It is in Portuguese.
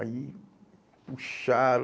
Aí, puxaram.